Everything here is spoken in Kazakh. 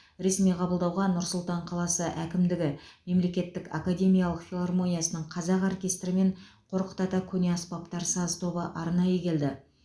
ресми қабылдауға нұр сұлтан қаласы әкімдігі мемлекеттік академиялық филармониясының қазақ оркестрі мен қорқыт ата көне аспаптар саз тобы арнайы келді